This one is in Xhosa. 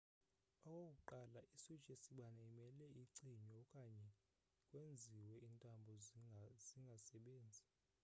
okokuqala i-switch yesibane imele icinywe okanye kwenziwe iintambo zingasebenzi